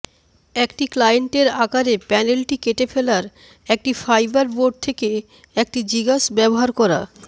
একটি ক্লায়েন্টের আকারে প্যানেলটি কেটে ফেলার একটি ফাইবারবোর্ড থেকে একটি জিগস ব্যবহার করা